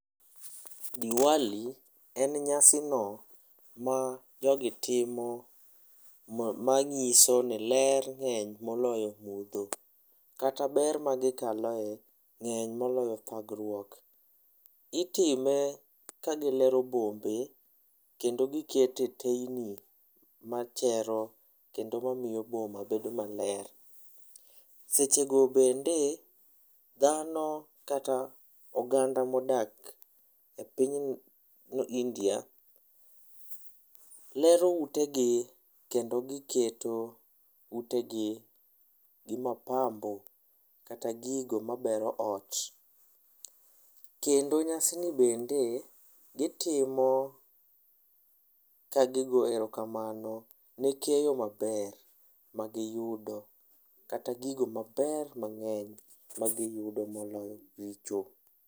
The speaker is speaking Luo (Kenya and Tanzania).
Diwali en nyasi no ma jogi timo ma ng'iso ni ler ng'eny moloyo mudho. Kata ber ma gikaloe ng'eny moloyo thagruok. Itime ka gilero bombe kendo gikete teyni machero kendo mamiyo boma bedo maler. Sechego bende, dhano kata oganda modak e piny India, lero ute gi kendo giketo ute gi gi mapambo kata gigo mabero ot. Kendo nyasi ni bende, gitimo ka gigo erokamano ne keyo maber magiyudo kata gigo maber mang'eny magiyudo moloyo richo.